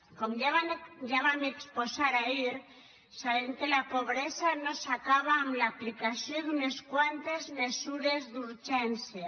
com ja vam exposar ahir sabem que la pobresa no s’acaba amb l’aplicació d’unes quantes mesures d’urgència